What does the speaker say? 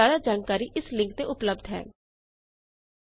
ਇਸ ਬਾਰੇ ਜਿਆਦਾ ਜਾਣਕਾਰੀ ਇਸ ਲਿੰਕ ਤੇ ਉਪਲਬੱਧ ਹੈ spoken tutorialorgNMEICT Intro